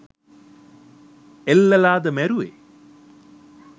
එල්ලලාද මැරුවේ